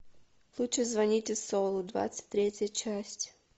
лучше звоните солу двадцать третья часть